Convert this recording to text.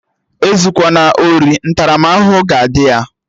Ezukwana ori! Ntaramahụhụ ga-adị ya!